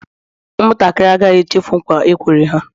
Ụmụ ntakịrị agaghị echefu nkwa e kwere ha